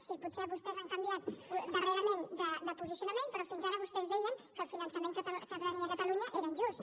si potser vostès han canviat darrerament de posicionament però fins ara vostès deien que el finançament que tenia catalunya era injust